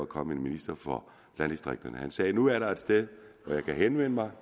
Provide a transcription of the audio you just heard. kommet en minister for landdistrikterne han sagde nu er der et sted hvor jeg kan henvende mig